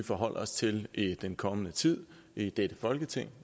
forholde os til i den kommende tid i dette folketing